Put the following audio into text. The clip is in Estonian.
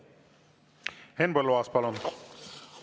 Henn Põlluaas, palun!